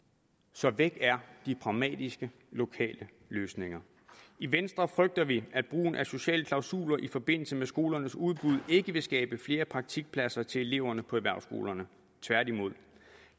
så væk er de pragmatiske lokale løsninger i venstre frygter vi at brugen af sociale klausuler i forbindelse med skolernes udbud ikke vil skabe flere praktikpladser til eleverne på erhvervsskolerne tværtimod